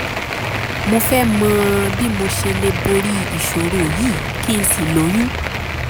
mo fẹ́ mọ bí mo ṣe lè borí ìṣòro yìí kí n sì lóyún